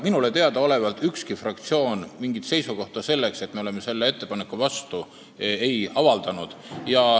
Minule teadaolevalt ükski fraktsioon mingit sellist seisukohta, et ollakse ettepaneku vastu, ei avaldanud.